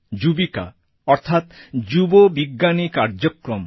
যুবিকা অর্থাৎ যুব বিজ্ঞানী কার্যক্রম